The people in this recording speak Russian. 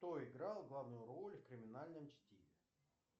кто играл главную роль в криминальном чтиве